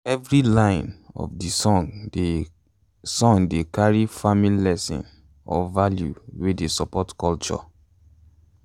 every line of de song dey song dey carry farming lesson or value wey dey support culture